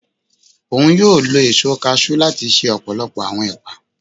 Oun yóò lò eso cashew lati ṣe ọpọlọpọ awọn epa